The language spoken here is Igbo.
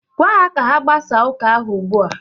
Gwa ha ka ha gbasaa ụka ahụ ugbua!